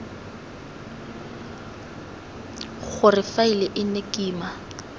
gore faele e nne kima